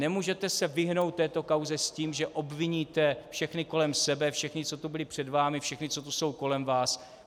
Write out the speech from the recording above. Nemůžete se vyhnout této kauze s tím, že obviníte všechny kolem sebe, všechny, co tu byli před vámi, všechny, co tu jsou kolem vás.